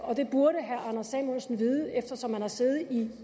og det burde herre anders samuelsen vide eftersom han har siddet i